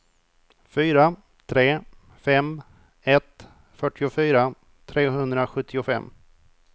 fyra tre fem ett fyrtiofyra trehundrasjuttiofem